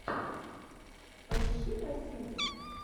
поищи про сервис